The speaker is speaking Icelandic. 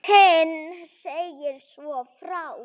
Heinz segir svo frá: